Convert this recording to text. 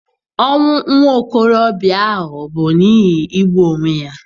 Ọnwụ nwa okorobịa ahụ bụ n'ihi igbu onwe ya.